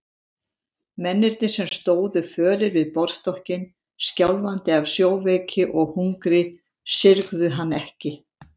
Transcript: Mennirnir sem stóðu fölir við borðstokkinn, skjálfandi af sjóveiki og hungri, syrgðu hann ekki.